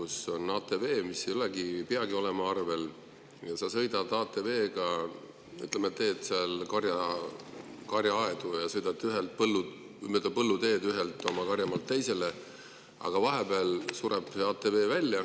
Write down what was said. Sa sõidad ATV‑ga, mis ei peagi olema arvel, ja ütleme, teed seal karjaaedu ja sõidad mööda põlluteed ühelt oma karjamaalt teisele, aga ATV sureb välja.